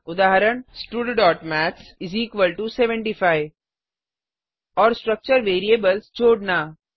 उदाहरण studमैथ्स 75 और स्ट्रक्चर वेरिएबल्स जोड़ना